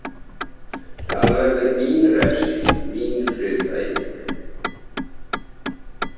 Það verður mín refsing, mín friðþæging.